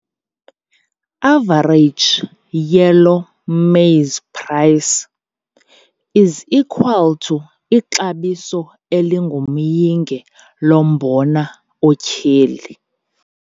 Average yellow maize price is equal to ixabiso elingumyinge lombona otyheli